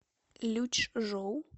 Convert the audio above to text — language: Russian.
лючжоу